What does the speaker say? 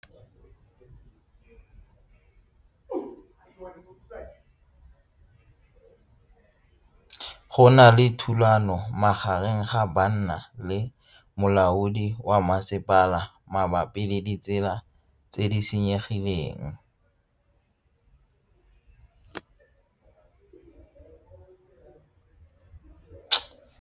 Go na le thulano magareng ga banna le molaodi wa masepala mabapi le ditsela tse di senyegileng.